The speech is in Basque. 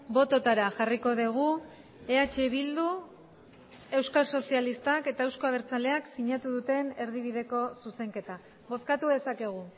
bototara jarriko dugu eh bildu euskal sozialistak eta euzko abertzaleak sinatu duten erdibideko zuzenketa bozkatu dezakegu